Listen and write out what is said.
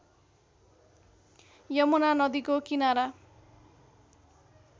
यमुना नदीको किनारा